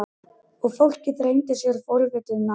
Og fólkið þrengdi sér forvitið nær.